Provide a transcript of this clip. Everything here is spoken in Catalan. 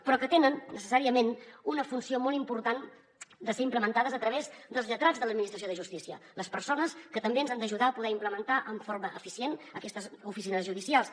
però que tenen necessàriament una funció molt important de ser implementades a través dels lletrats de l’administració de justícia les persones que també ens han d’ajudar a poder implementar amb forma eficient aquestes oficines judicials